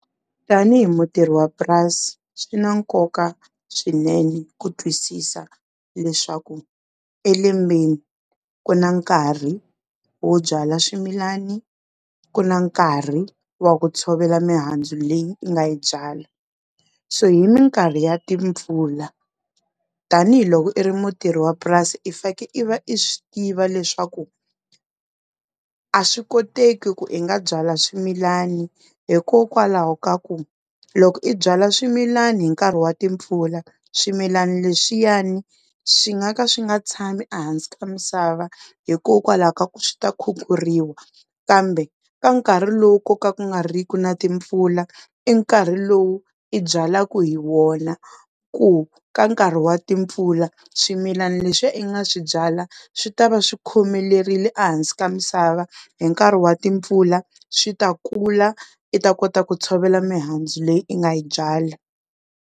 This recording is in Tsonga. Tanihi mutirhi wa purasi swi na nkoka swinene ku twisisa leswaku e lembeni ku na nkarhi wo byala swimilani ku na nkarhi wa ku tshovela mihandzu leyi u nga yi byala so hi minkarhi ya timpfula tanihiloko i ri mutirhi wa purasi i fake i va i swi tiva leswaku a swi koteki ku i nga byala swimilani hikokwalaho ka ku loko i byala swimilani hi nkarhi wa timpfula swimilani leswiyani swi nga ka swi nga tshami ehansi ka misava hikokwalaho ka ku swi ta khukhuriwa kambe ka nkarhi lowu koka ku nga riki na timpfula i nkarhi lowu i byalaka hi wona ku ka nkarhi wa timpfula swimilana leswiya i nga swi byala swi ta va swikhomelerile ehansi ka misava hi nkarhi wa timpfula swi ta kula i ta kota ku tshovela mihandzu leyi i nga yi byala.